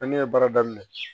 Ne ye baara daminɛ